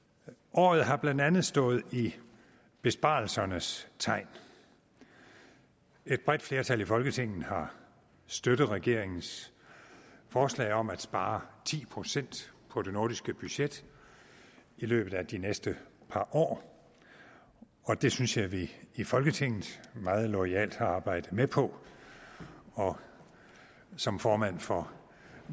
året har blandt andet stået i besparelsernes tegn et bredt flertal i folketinget har støttet regeringens forslag om at spare ti procent på det nordiske budget i løbet af de næste par år og det synes jeg vi i folketinget meget loyalt har arbejdet med på og som formand for